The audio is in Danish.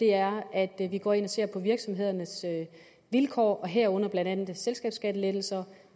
er at vi går ind og ser på virksomhedernes vilkår herunder blandt andet selskabsskattelettelser